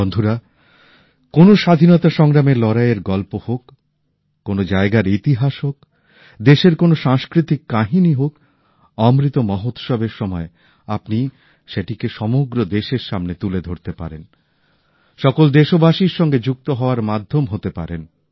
বন্ধুরা কোন স্বাধীনতা সংগ্রামের লড়াইয়ের গল্প হোক কোন জায়গার ইতিহাস হোক দেশের কোন সাংস্কৃতিক কাহিনী হোক অমৃত মহোৎসব এর সময়ে আপনি সেটিকে সমগ্র দেশের সামনে তুলে ধরতে পারেন সকল দেশবাসীর সঙ্গে যুক্ত হওয়ার মাধ্যম হতে পারেন